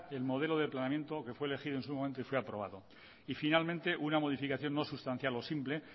el modelo de planeamiento que fue elegido en su momento y fue aprobado y finalmente una modificación no sustancial o simple